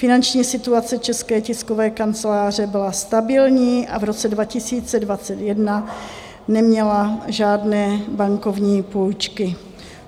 Finanční situace České tiskové kanceláře byla stabilní a v roce 2021 neměla žádné bankovní půjčky.